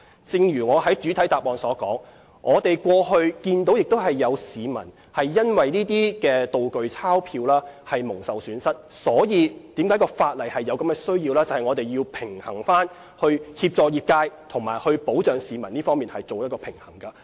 正如我在主體答覆所說，我們過去看到有市民因為"道具鈔票"而蒙受損失，所以有制定法例的需要，以在協助業界和保障市民之間作出平衡。